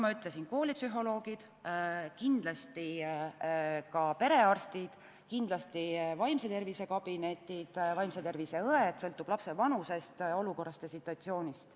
On veel koolipsühholoogid, perearstid, kindlasti vaimse tervise õed – sõltub lapse vanusest, olukorrast ja situatsioonist.